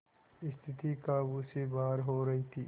स्थिति काबू से बाहर हो रही थी